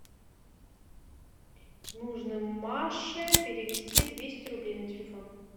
нужно маше перевести двести рублей на телефон